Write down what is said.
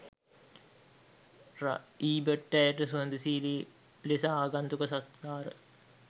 ර ඊබට් ඇයට සුහදශීලී ලෙස ආගන්තුක සත්කාර